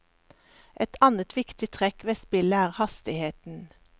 Et annet viktig trekk ved spillet er hastigheten.